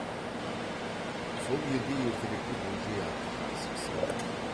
сол елде ертеректе бөжей атты жақсы кісі болған